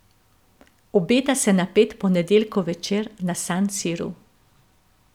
Obeta se napet ponedeljkov večer na San Siru.